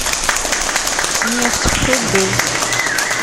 нефть х д